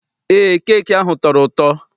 Eé, keeki ahụ tọrọ ụtọ.